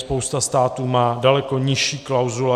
Spousta států má daleko nižší klauzule.